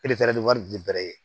wari di bɛrɛ ye